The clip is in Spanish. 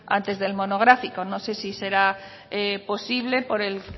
antes del monográfico no sé si será posible por el